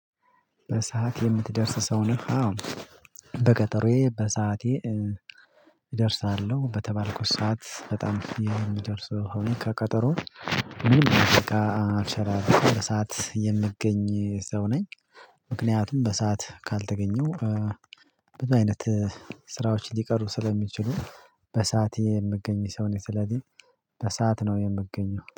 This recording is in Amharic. በሰአት የምትደርስ ሰው ነህ? በቀጠሮዬ በሰአቴ እደርሳለሁ በተባልኩት ሰዓት በጣም የሚደርሰው ከቀጠሮ ምን አደርጋ አልቻለም በሰአት የምገኝ ሰው ነኝ። ምክንያቱም በሰአት ካልተገኘው በዚህ አይነት ስራዎች እንዲቀሩ ስለሚችሉ። በሰአት የምገኝ ሰው ነኝ ስለዚህ በሰአት ነው የምገኘው